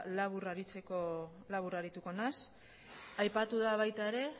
labur arituko naiz aipatu da baita era